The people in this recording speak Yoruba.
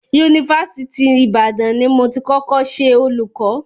Yunifásitì Ìbàdàn ni mo ti kọ́kọ́ ṣe olùkọ́.